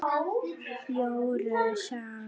Jóru saga